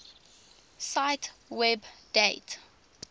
cite web date